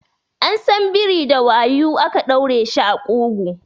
An san biri da wayu ake ɗaure shi a ƙugu